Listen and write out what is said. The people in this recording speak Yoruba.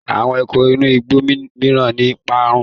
Àwọn ẹranko inú igbó mìíràn ti parun.